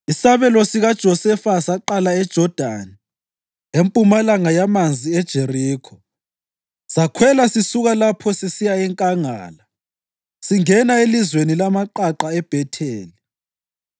Isabelo sikaJosefa saqala eJodani, empumalanga yamanzi eJerikho, sakhwela sisuka lapho sisiya enkangala singena elizweni lamaqaqa eBhetheli.